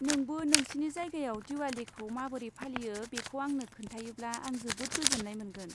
नोंबो नोंसिनि जायगायाव दिवालीखौ माबोरै फालियो बेखौ आंनो खोन्थायोब्ला आं जोबोद गोजोन्नाय मोनगोन।